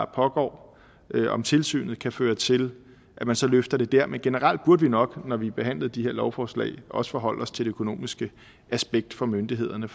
pågår om tilsynet kan føre til at man så løfter det dér men generelt burde vi nok når vi behandlede de her lovforslag også forholde os til det økonomiske aspekt for myndighederne